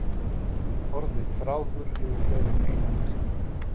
Orðið þráður hefur fleiri en eina merkingu.